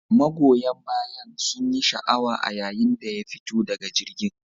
Magoyan bayan sunyi sha'awa a yayin da ya fito daga jirgin.